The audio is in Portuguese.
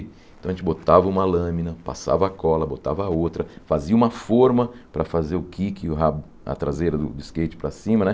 Então a gente botava uma lâmina, passava cola, botava outra, fazia uma forma para fazer o kick, o rabo a traseira do skate para cima, né?